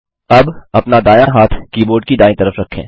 अब अपना दायाँ हाथ कीबोर्ड की दायीं तरफ रखें